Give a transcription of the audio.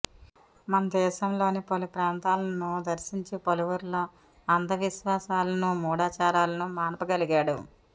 మన దేశంలోని పలు ప్రాంతాలను దర్శించి పలువురిలో అంధ విశ్వాసాలను మూఢాచారాలను మాన్పగలిగాడు